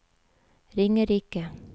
Ringerike